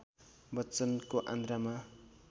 बच्चनको आन्द्रामा